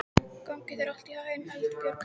Gangi þér allt í haginn, Eldbjörg.